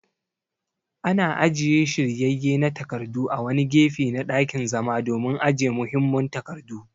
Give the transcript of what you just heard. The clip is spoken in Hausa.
Ana ajiye shiryayye na takardu a wani gefe na ɗakin zama domin ajiye muhimman takardu.